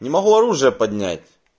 не могу оружие поднять